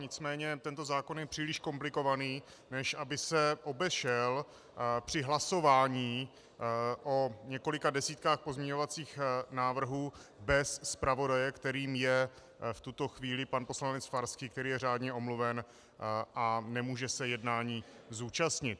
Nicméně tento zákon je příliš komplikovaný, než aby se obešel při hlasování o několika desítkách pozměňovacích návrhů bez zpravodaje, kterým je v tuto chvíli pan poslanec Farský, který je řádně omluven a nemůže se jednání zúčastnit.